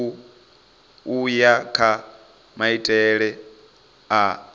u ya kha maitele a